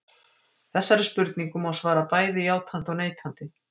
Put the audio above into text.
Þessari spurningu má svara bæði játandi og neitandi.